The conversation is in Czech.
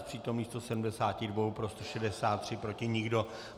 Z přítomných 172 pro 163, proti nikdo.